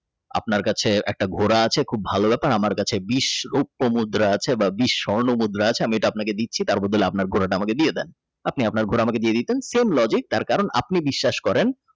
আপনার কাছে একটা ঘোড়া আছে খুব ভালো ব্যাপার আমার কাছে বিস্ রুপ্পো মুদ্রা আছে বা বিস্ স্বর্ণমুদ্রা আছে বা আছে আপনাকে দিচ্ছি তার বদলে আপনার ঘোড়া আমাকে দিয়ে দেন আপনি আপনার ঘর আমাকে দিয়ে দিতেন Same logic তার কারণ আপনি বিশ্বাস করেন।